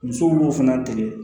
Musow b'o fana tigɛ